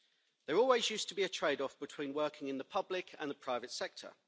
There always used to be a trade-off between working in the public and the private sector.